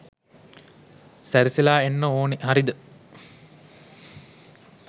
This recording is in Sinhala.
සැරසිලා එන්න ඕන හරිද?